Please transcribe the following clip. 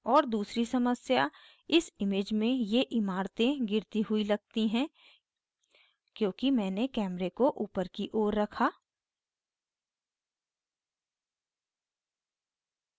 और दूसरी समस्या इस image में ये इमारतें गिरती हुई लगती हैं क्योंकि मैंने camera को ऊपर की ओर रखा